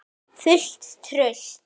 Fullt traust?